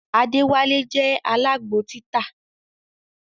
Adewale je alágbo títà